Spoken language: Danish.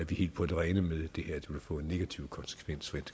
vi helt på det rene med at det her vil få en negativ konsekvens